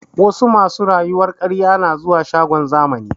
Wasu masu rayuwar ƙarye na zuwa shagon zamani